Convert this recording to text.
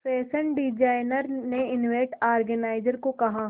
fashion designer ने event organiser को कहा